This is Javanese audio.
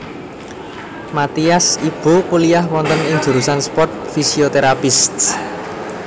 Mathias Ibo kuliyah wonten ing jurusan sport physiotherapists